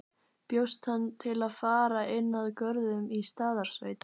Bjóst hann til að fara inn að Görðum í Staðarsveit.